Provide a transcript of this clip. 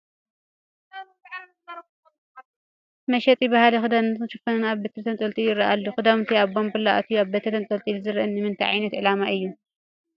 መሸጢ ባህላዊ ክዳናትንን ሽፎንን ኣብ በሪ ተንጠልጢሉ ይርአ ኣሎ፡፡ ክዳውንቲ ኣብ ባንቡላ ኣትዩ ኣብ በሪ ተንጠልጢሉ ዝረአ ንምንታ ዓይነት ዕላማ እዩ?